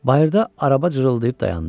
Bayırda araba cırıldayıb dayandı.